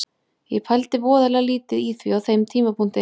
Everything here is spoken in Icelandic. Ég pældi voðalega lítið í því á þeim tímapunkti.